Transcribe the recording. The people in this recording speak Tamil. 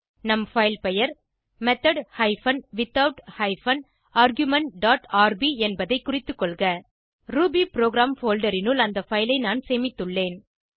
நம் பைல் பெயர் method hyphen without hyphen argument dot RB என்பதை குறித்துக்கொள்க ரூபிபுரோகிராம் போல்டர் னுள் அந்த பைல் ஐ நான் சேமித்துள்ளேன்